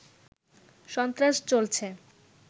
সন্ত্রাস চলছে